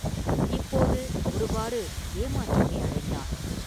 இப்போது ஒருவாறு ஏமாற்றமே அடைந்தான்.